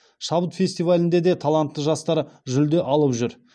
шабыт фестивалінде де талантты жастар жүлде алып жүр